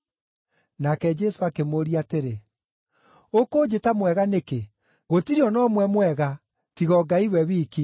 Nake Jesũ akĩmũũria atĩrĩ, “Ũkũnjĩta mwega nĩkĩ? Gũtirĩ o na ũmwe mwega, tiga o Ngai we wiki.